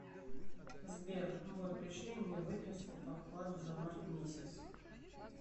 сбер бой пришли мне выписку по вкладу за март месяц